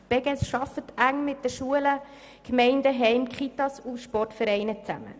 Die Beges arbeitet eng mit den Schulen zusammen, aber auch mit Gemeinden, Heimen, Kitas und Sportvereinen.